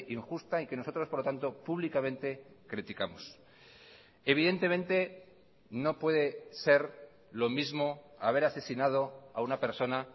injusta y que nosotros por lo tanto públicamente criticamos evidentemente no puede ser lo mismo haber asesinado a una persona